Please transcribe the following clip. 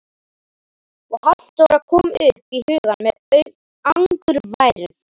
Og Halldóra kom upp í hugann með angurværð.